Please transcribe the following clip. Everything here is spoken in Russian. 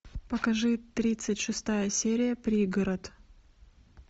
покажи тридцать шестая серия пригород